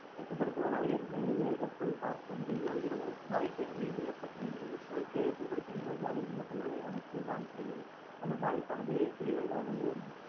வெப்பப்படுத்துவதால் ஏற்படும் விளைவுகளை தற்போது பார்ப்போம் திண்மம், திரவம் வாயுக்களின் மீது வெப்பத்தின் மீது பொருட்களை வெப்பப்படுத்தும் போது அதில் உள்ள சுவடுகள் நமக்கு பாதிப்படையும் அந்த பாதிப்பானது பெரியதாகவோ